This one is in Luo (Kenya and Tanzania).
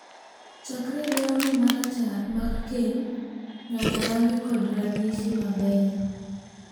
Chakre lewni ma rachar mag keny nyaka rangi kod ranyisi mabeyo.